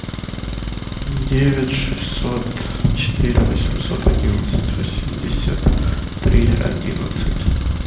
девять шестьсот четыре восемьсот одиннадцать восемьдесят три одиннадцать